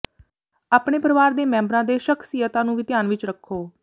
ਆਪਣੇ ਪਰਵਾਰ ਦੇ ਮੈਂਬਰਾਂ ਦੇ ਸ਼ਖਸੀਅਤਾਂ ਨੂੰ ਵੀ ਧਿਆਨ ਵਿੱਚ ਰੱਖੋ